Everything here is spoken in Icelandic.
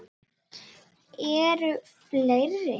Eru fleiri?